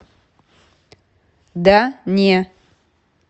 да не